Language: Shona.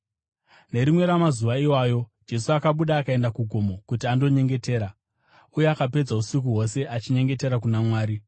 Nerimwe ramazuva iwayo, Jesu akabuda akaenda kugomo kuti andonyengetera, uye akapedza usiku hwose achinyengetera kuna Mwari.